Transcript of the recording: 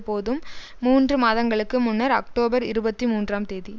போதும் மூன்று மாதங்களுக்கு முன்னர் அக்டோபர் இருபத்தி மூன்றாம் தேதி